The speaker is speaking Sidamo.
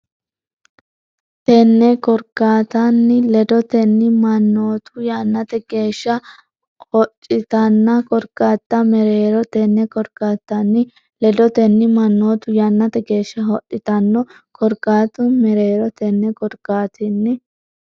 Tenne korkaattanni ledotenni mannootu yannate geeshsha hodhitanno korkaatta mereero Tenne korkaattanni ledotenni mannootu yannate geeshsha hodhitanno korkaatta mereero Tenne korkaattanni.